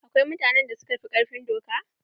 Akwai mutanen da suka fi ƙarfin doka.